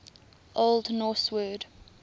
old norse word